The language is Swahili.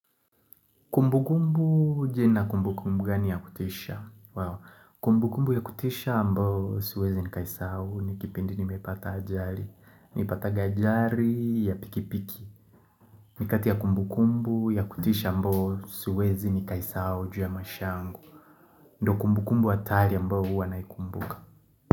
Kumbu kumbu je na kumbu kumbu gani ya kutisha? Wow. Kumbu kumbu ya kutisha ambao siwezi nikaisahau ni kipindi nimepata ajali. Nilipataga ajali ya pikipiki. Ni kati ya kumbu kumbu ya kutisha ambao siwezi nikaisahau ju ya maishangu. Ndo kumbu kumbu hatari ambao huwa naikumbuka.